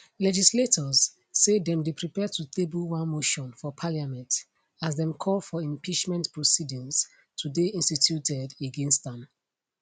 legislators say dem dey prepare to table one motion for parliament as dem call for impeachment proceedings to dey instituted against am